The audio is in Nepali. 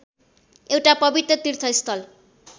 एउटा पवित्र तीर्थस्थल